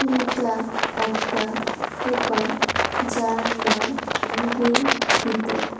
এইটা একটা দোকান যার নাম নিবেদিত।